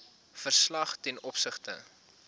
verslag ten opsigte